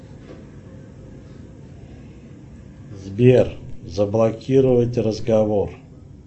сбер заблокировать разговор